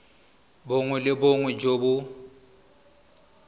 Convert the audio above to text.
bongwe le bongwe jo bo